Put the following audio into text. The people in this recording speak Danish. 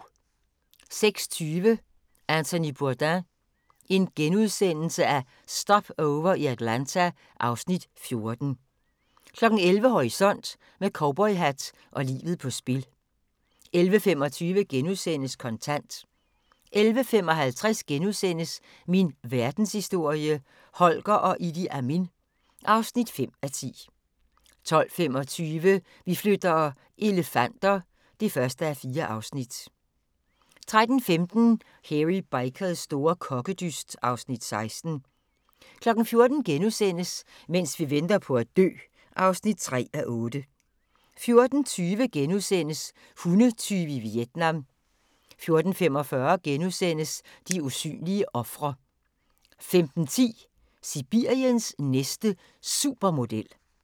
06:20: Anthony Bourdain – Stopover i Atlanta (Afs. 14)* 11:00: Horisont: Med cowboyhat og livet på spil 11:25: Kontant * 11:55: Min Verdenshistorie – Holger og Idi Amin (5:10)* 12:25: Vi flytter - elefanter (1:4) 13:15: Hairy Bikers store kokkedyst (Afs. 16) 14:00: Mens vi venter på at dø (3:8)* 14:20: Hundetyve i Vietnam * 14:45: De usynlige ofre * 15:10: Sibiriens næste supermodel